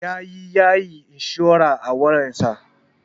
Yaje yayi inshurar a wayar sa.